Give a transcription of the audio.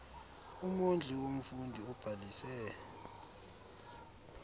umondli womfundi obhalise